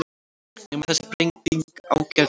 Nema þessi breyting ágerðist.